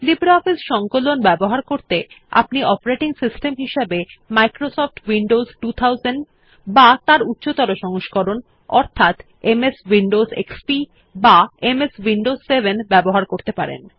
LibreOffice সংকলন ব্যবহার করতে আপনি অপারেটিং সিস্টেম হিসাবে মাইক্রোসফট উইন্ডোজ 2000 বা তার উচ্চতর সংস্করণ অর্থাৎ এমএস উইন্ডোজ এক্সপি বা এমএস উইন্ডোজ 7 ব্যবহার করতে পারেন